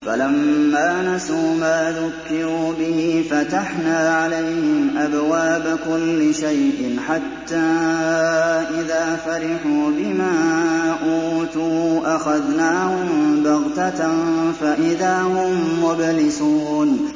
فَلَمَّا نَسُوا مَا ذُكِّرُوا بِهِ فَتَحْنَا عَلَيْهِمْ أَبْوَابَ كُلِّ شَيْءٍ حَتَّىٰ إِذَا فَرِحُوا بِمَا أُوتُوا أَخَذْنَاهُم بَغْتَةً فَإِذَا هُم مُّبْلِسُونَ